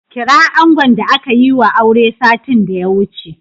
Kira angon da aka yiwa aure satin da ya wuce.